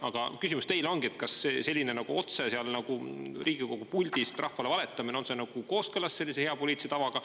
Aga küsimus teile ongi, kas selline nagu otse sealt Riigikogu puldist rahvale valetamine on kooskõlas hea poliitilise tavaga.